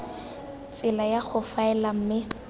tsela ya go faela mme